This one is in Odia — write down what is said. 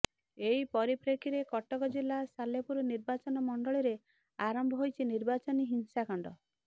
ଏହି ପରିପ୍ରେକ୍ଷୀରେ କଟକ ଜିଲ୍ଲା ସାଲେପୁର ନିର୍ବାଚନମଣ୍ଡଳୀରେ ଆରମ୍ଭ ହୋଇଛି ନିର୍ବାଚନୀ ହିଂସାକାଣ୍ଡ